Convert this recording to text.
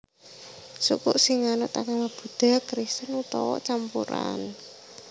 Suku sing nganut agama Buddha Kristen utawa campuran